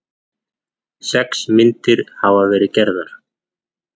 Sex myndir hafa verið gerðar